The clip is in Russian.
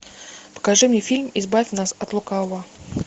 покажи мне фильм избавь нас от лукавого